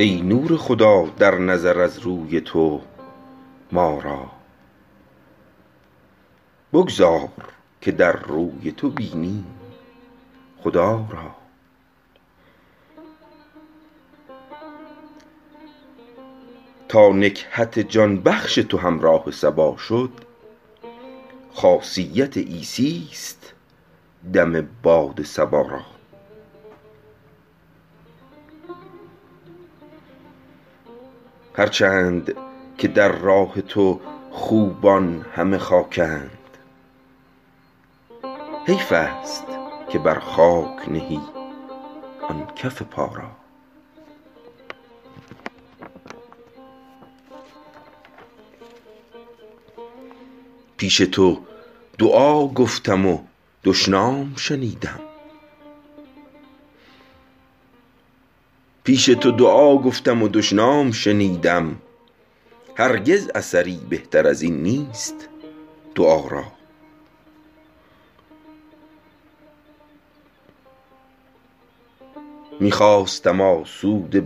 ای نور خدا در نظر از روی تو ما را بگذار که در روی تو بینیم خدا را تا نکهت جان بخش تو همراه صبا شد خاصیت عیسیست دم باد صبا را هر چند که در راه تو خوبان همه خاکند حیفست که بر خاک نهی آن کف پا را پیش تو دعا گفتم و دشنام شنیدم هرگز اثری بهتر ازین نیست دعا را می خواستم آسوده